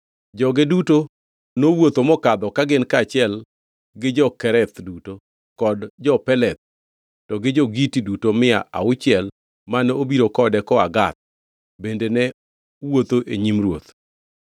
Joge duto nowuotho mokadho ka gin kaachiel gi jo-Kereth duto kod jo-Peleth; to gi jo-Giti duto mia auchiel mane obiro kode koa Gath bende ne wuotho e nyim ruoth.